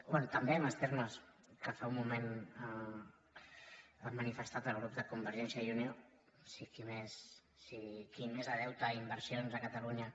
bé també en els termes que fa un moment ha manifestat el grup de convergència i unió si qui més de deute i inversions a catalunya